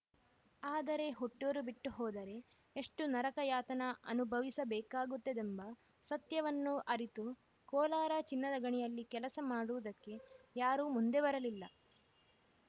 ಆದರೆ ಹುಟ್ಟೂರು ಬಿಟ್ಟು ಹೋದರೆ ಎಷ್ಟುನರಕಯಾತನ ಅನುಭವಿಸಬೇಕಾಗುತ್ತದೆಂಬ ಸತ್ಯವನ್ನು ಅರಿತು ಕೋಲಾರ ಚಿನ್ನದ ಗಣಿಯಲ್ಲಿ ಕೆಲಸ ಮಾಡುವುದಕ್ಕೆ ಯಾರೂ ಮುಂದೆ ಬರಲಿಲ್ಲ